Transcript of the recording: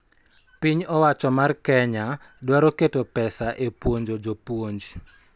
Piny owacho mar Kenya dwaro keto pesa e puonjo jopuonj,